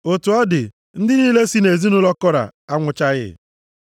Otu ọ dị, ndị niile si nʼezinaụlọ Kora anwụchaghị.